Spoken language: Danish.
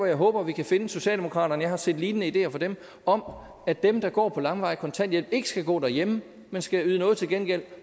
jeg håber at vi kan finde socialdemokratiet jeg har set lignende ideer fra dem om at dem der går på langvarig kontanthjælp ikke skal gå derhjemme man skal yde noget til gengæld